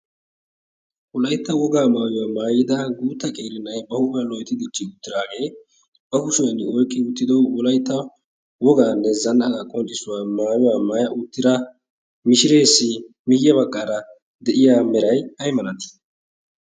wolaytta wogaa maayuwaa maayida guutta qeeri nay ba huuphan loytti dirchchi uttidaagee ba kushuwann oyqqi uttido wolaytta wogaannee zannaqaa qonccissuwaa maayuwaa maaya uttira mishireesi miyiya baggaara de'iya meray ay malatii